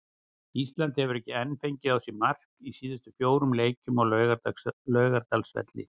Ísland hefur heldur ekki fengið á sig mark í síðustu fjórum leikjum á Laugardalsvelli.